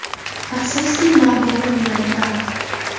Afsuski, Margoning yuragi band.